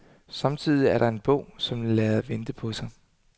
Samtidig er der en bog, som lader vente på sig.